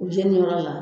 U jɛniyɔrɔ la